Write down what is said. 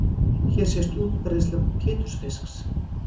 Hér sést útbreiðsla pétursfisks.